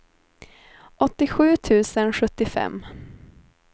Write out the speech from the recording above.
åttiosju tusen sjuttiofem